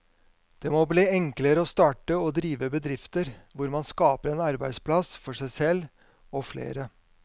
Det må bli enklere å starte og drive bedrifter hvor man skaper en arbeidsplass for seg selv og flere.